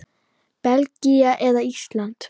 Belgía eða Ísland?